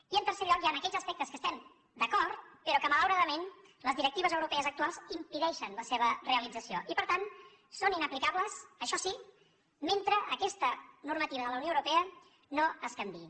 i en tercer lloc hi han aquells aspectes en què estem d’acord però que malauradament les directives europees actuals impedeixen la seva realització i per tant són inaplicables això sí mentre aquesta normativa de la unió europea no es canviï